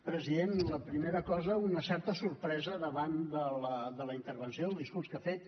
president la primera cosa una certa sorpresa davant de la intervenció el discurs que ha fet